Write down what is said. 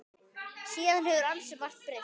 Síðan hefur ansi margt breyst.